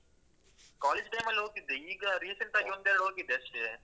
College time ಅಲ್ಲ್ ಹೋಗಿದ್ದೆ ಈಗ recent ಆಗಿ ಒಂದೆರಡು ಹೋಗಿದ್ದೆ ಅಷ್ಟೆ.